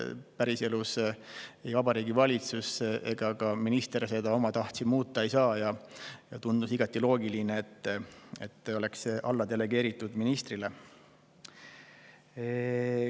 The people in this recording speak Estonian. Päriselus ei Vabariigi Valitsus ega ka minister seda omatahtsi muuta ei saa ja tundus igati loogiline, et see oleks delegeeritud ministrile.